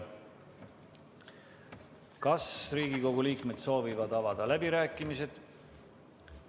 Kas Riigikogu liikmed soovivad avada läbirääkimised?